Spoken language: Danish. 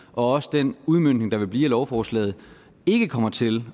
og også den udmøntning der vil blive af lovforslaget ikke kommer til